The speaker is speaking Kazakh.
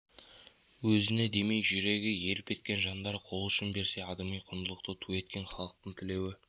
өзіне демей жүрегі елп еткен жандар қол ұшын берсе адами құндылықты ту еткен халықтың тілеуі